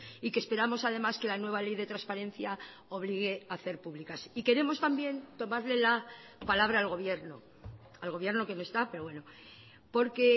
y que esperamos además que la nueva ley de transparencia obligue a hacer públicas y queremos también tomarle la palabra al gobierno al gobierno que no está pero bueno porque